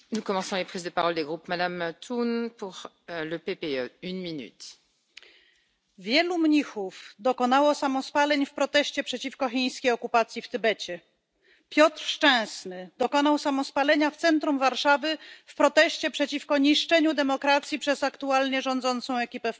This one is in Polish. Pani Przewodnicząca! Wielu mnichów dokonało samospaleń w proteście przeciwko chińskiej okupacji w Tybecie, Piotr Szczęsny dokonał samospalenia w centrum Warszawy w proteście przeciwko niszczeniu demokracji przez aktualnie rządzącą ekipę w Polsce.